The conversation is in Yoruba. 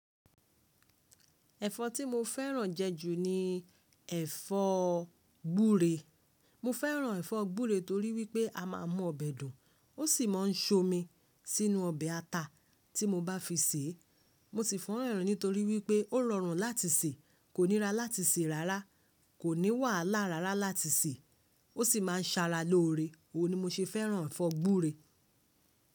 Ẹ̀fọ́ tí mo fẹ́ràn jẹ́ jù ní ẹ̀fọ́ gbúre. Mo fẹ́ràn ẹ̀fọ́ gbúre torí wípé a máa mọ ọbẹ̀ dùn, ó sì máa ń so omi sínú ọbẹ̀ ata tí mo bá fi sèé. Mo sì fẹ́ràn rẹ̀ nítorí wípé ó rọrùn láti sè, kò níra láti sè rárá, kò ní wàhálà rárá láti sè, ó sì máa ń ṣara lóore. Ó ní mo ṣe fẹ́ràn ẹ̀fọ́ gbúre.